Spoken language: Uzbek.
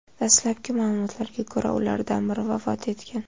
Dastlabki ma’lumotlarga ko‘ra, ulardan biri vafot etgan.